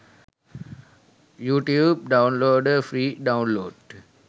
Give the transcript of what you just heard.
youtube downloader free download